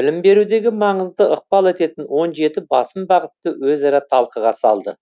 білім берудегі маңызды ықпал ететін он жеті басым бағытты өзара талқыға салды